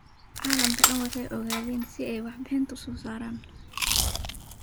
Calamka dhaan waxay oogaden sidhi warbixinta uusosarayo.